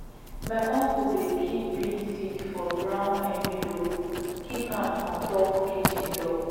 my uncle dey kip beans seeds for brown envelopes kip am on top kitchen door